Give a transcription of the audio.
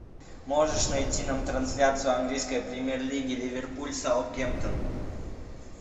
можешь найти нам трансляцию английской премьер лиги ливерпуль саутгемптон